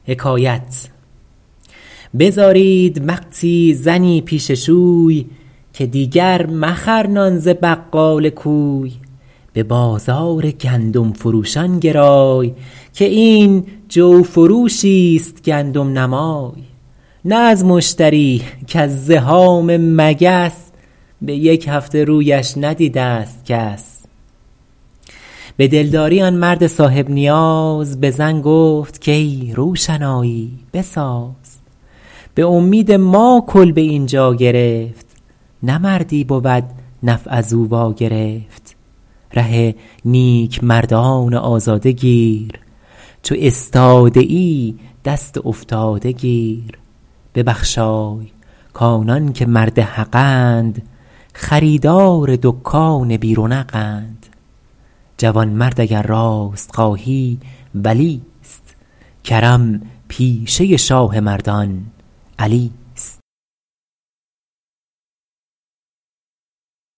بزارید وقتی زنی پیش شوی که دیگر مخر نان ز بقال کوی به بازار گندم فروشان گرای که این جو فروشی ست گندم نما ی نه از مشتری کز زحام مگس به یک هفته رویش ندیده ست کس به دلداری آن مرد صاحب نیاز به زن گفت کای روشنایی بساز به امید ما کلبه اینجا گرفت نه مردی بود نفع از او وا گرفت ره نیک مردان آزاده گیر چو استاده ای دست افتاده گیر ببخشای کآنان که مرد حقند خریدار دکان بی رونق ند جوانمرد اگر راست خواهی ولی ست کرم پیشه شاه مردان علی ست